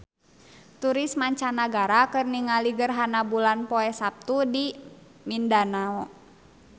Turis mancanagara keur ningali gerhana bulan poe Saptu di Mindanao